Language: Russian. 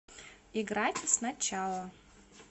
играть сначала